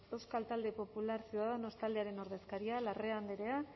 euskal talde popular ciudadanos taldearen ordezkaria larrea andrea